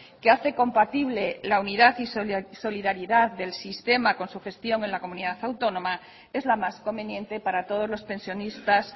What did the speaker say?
que hace compatible la unidad y solidaridad del sistema con su gestión en la comunidad autónoma es la más conveniente para todos los pensionistas